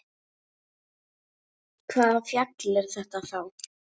Hvaða fjall er þetta þá?